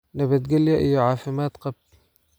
Nabadgelyo iyo caafimaad qab!"